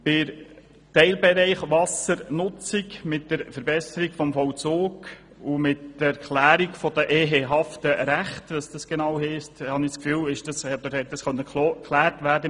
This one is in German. Der Teilbereich Wassernutzung, mit der Verbesserung des Vollzugs und der Erklärung der ehehaften Rechte, konnte im politischen Prozess geklärt werden.